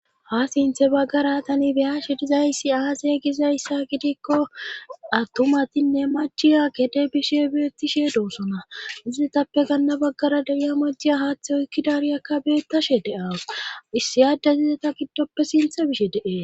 ha sinthe baggara tani beyashe dizayssi aasey gizayssa gidikko attumatinne machiya kede bishe beettishe doosona izietappe ganna baggara deriya majjiya haaththe oykkidariyakka beettashe de7as issiyaade zizeta giddoppe sinthe bishe dee